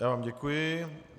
Já vám děkuji.